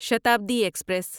Shatabdi express